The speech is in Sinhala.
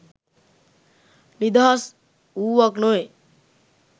නිදහස් වූවක් නොවේ.